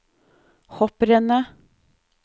hopprennet